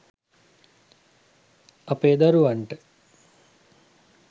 අපේ දරුවන්ට